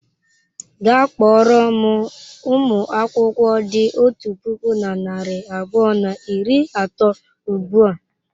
Gaa kpọrọ m ụmụ akwụkwọ dị otu puku na narị abụọ na iri atọ ugbu a!